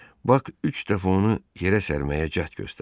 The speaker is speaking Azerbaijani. Bak üç dəfə onu yerə sərməyə cəhd göstərdi.